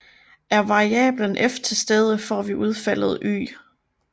Er variablen F tilstede får vi udfaldet Y